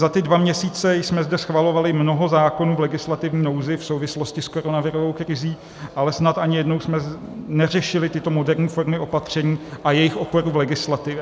- Za ty dva měsíce jsme zde schvalovali mnoho zákonů v legislativní nouzi v souvislosti s koronavirovou krizí, ale snad ani jednou jsme neřešili tyto moderní formy opatření a jejich oporu v legislativě.